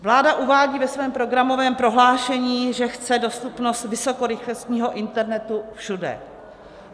Vláda uvádí ve svém programovém prohlášení, že chce dostupnost vysokorychlostního internetu všude.